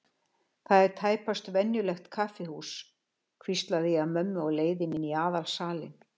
Þetta er tæpast venjulegt kaffihús, hvísla ég að mömmu á leiðinni inn í aðalsalinn.